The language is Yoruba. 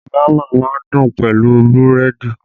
Bama má ń dùn pẹ̀lú búrẹ́dì